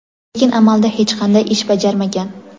Lekin amalda hech qanday ish bajarmagan.